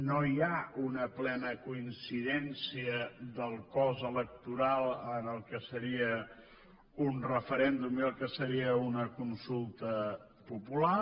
no hi ha una plena coincidència del cos electoral en el que seria un referèndum i el que seria una consulta popular